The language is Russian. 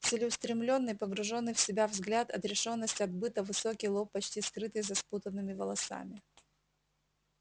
целеустремлённый погруженный в себя взгляд отрешённость от быта высокий лоб почти скрытый за спутанными волосами